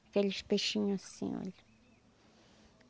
Aqueles peixinhos assim, olha.